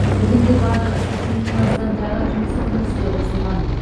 бүгінде барлығы сексеннен астам жаңа жұмыс орны іске қосылған